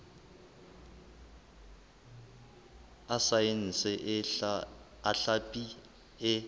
a saense a hlapi e